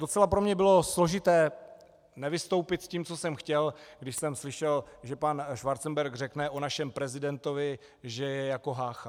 Docela pro mě bylo složité nevystoupit s tím, co jsem chtěl, když jsem slyšel, že pan Schwarzenberg řekne o našem prezidentovi, že je jako Hácha.